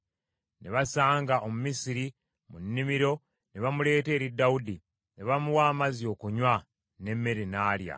Ne basanga Omumisiri mu nnimiro ne bamuleeta eri Dawudi. Ne bamuwa amazzi okunywa, n’emmere n’alya,